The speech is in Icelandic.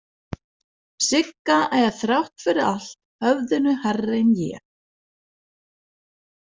Sigga er þrátt fyrir allt höfðinu hærri en ég.